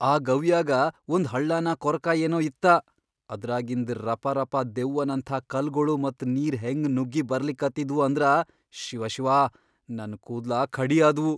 ಆ ಗವ್ಯಾಗ ಒಂದ್ ಹಳ್ಳಾನ ಕೊರಕಾ ಏನೋ ಇತ್ತ, ಅದ್ರಾಗಿಂದ್ ರಪಾರಪಾ ದೆವ್ವನಂಥಾ ಕಲ್ಗೊಳು ಮತ್ ನೀರ್ ಹೆಂಗ್ ನುಗ್ಗಿ ಬರ್ಲಿಕತ್ತಿದ್ವು ಅಂದ್ರ ಶಿವಶಿವಾ ನನ್ ಕೂದ್ಲ ಖಡಿ ಆದ್ವು.